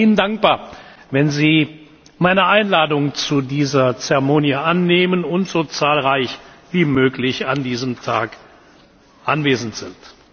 Ich wäre Ihnen dankbar, wenn Sie meine Einladung zu dieser Zeremonie annehmen und so zahlreich wie möglich an diesem Tag anwesend sind.